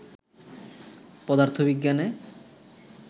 পদার্থ বিজ্ঞানে